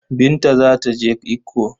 Binta za ta je Ikko.